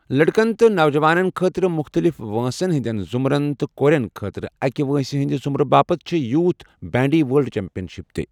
لڑکن تہٕ نوجوانَن خٲطرٕ مختلف وٲنٛسن ہٕنٛدٮ۪ن ضٗمرن تہٕ کورٮ۪ن خٲطرٕ أکِہ وٲنٛسہِ ہٕنٛدِِ ضٖٗمرٕ باپت چھے٘ یوٗتھ بینڈی ورلڈ چیمپیَن شپہٕ تہِ ۔